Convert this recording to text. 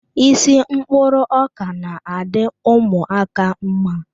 Isi mkpụrụ ọka na-adị ụmụaka mma.